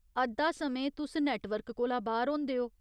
अद्धा समें, तुस नेटवर्क कोला बाह्‌र होंदे ओ।